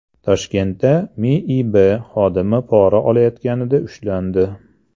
Toshkentda MIB xodimi pora olayotganida ushlandi.